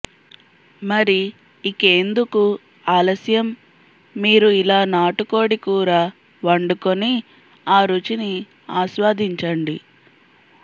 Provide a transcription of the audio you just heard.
మరి ఇకేందుకు ఆలస్యం మీరు ఇలా నాటుకోడి కూర వండుకుని ఆ రుచిని ఆస్వాదించండి